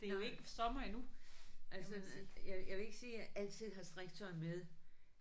Nej jamen øh jeg vil ikke sige at jeg altid har strikketøj med